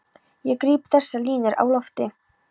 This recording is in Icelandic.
Ég gríp þessar línur á lofti.